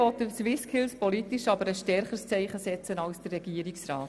Die BDP will politisch aber ein stärkeres Zeichen setzen als der Regierungsrat.